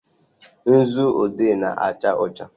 nzu odee na-acha ọcha.